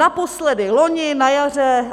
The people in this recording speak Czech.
Naposledy loni na jaře.